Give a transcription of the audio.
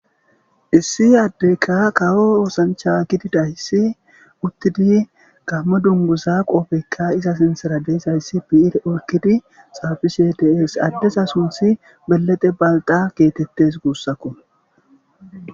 Issi addeyka kawo oosancha gidida issi uttidi gammo dunguza qoofeykka iza sintsera deyshayssi bi'i olkidi xaafishe ds addesa sunthi belete balqa geetettes guussakko.